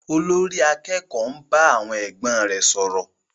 Olórí àkẹ́kòó ń bá àwọn ẹgbẹ́ rẹ̀ sọ̀rọ̀.